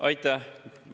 Aitäh!